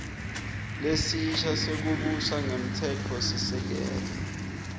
lesisha sekubusa ngemtsetfosisekelo